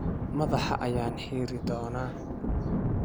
madaxa ayaan xiiri doonaa.